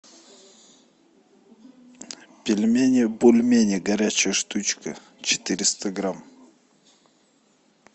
пельмени бульмени горячая штучка четыреста грамм